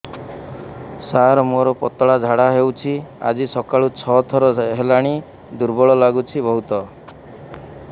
ସାର ମୋର ପତଳା ଝାଡା ହେଉଛି ଆଜି ସକାଳୁ ଛଅ ଥର ହେଲାଣି ଦୁର୍ବଳ ଲାଗୁଚି ବହୁତ